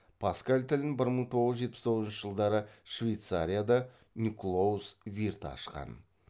паскаль тілін бір мың тоғыз жүз жетпіс тоғызыншы жылдары швейцарияда никлоус вирт ашқан